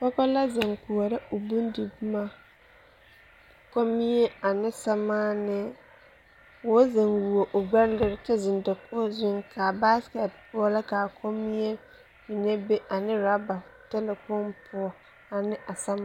Pɔge la zeŋ koɔrɔ o bondiboma kommie ane sɛmaanee k,o zeŋ wuo o gbɛɛ lere kyɛ zeŋ dakogi zuŋ k,a basekɛte poɔ la k,a kommie mine be ane orɔba talakpoŋ poɔ ane a samaanee.